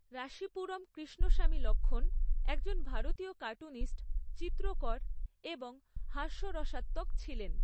রাসীপুরম কৃষ্ণস্বামী লক্ষ্মণ একজন ভারতীয় কার্টুনিস্ট, চিত্রকর এবং হাস্যরসাত্মক ছিলেন।